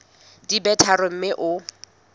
di be tharo mme o